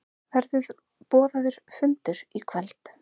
Verður boðaður fundur í kvöld?